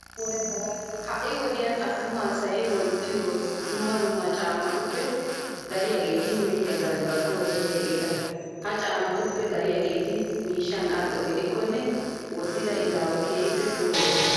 Ha"i wodiyan attuma asay wottiyo dumma dumma caammatuppe dariyageeti mehiya galbbaappe oosettiyageeta. Ha caammatuppe dariyageeti miishshan al"o gidikkonne wottida izaawa keehippe puulayoosona.